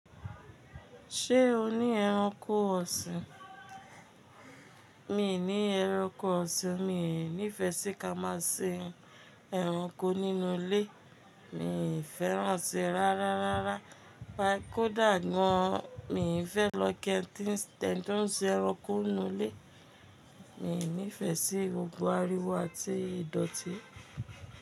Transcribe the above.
Ṣé o ní ẹranko ọ̀sìn? Mi ò ní ẹranko ọ̀sìn, mí ò ní ìfẹ́ sí ká máa ṣin ẹranko nínú ilé. Mi ò fẹ́ràn sii rárá, rárá. Pa kó dà gàn. Mi ò fẹ́ lọ ki eni tíǹsì eni to n sin ẹranko nínú ilé. Mi ò ní ìfẹ́ sí gbogbo ariwo àti ìdọ̀tí.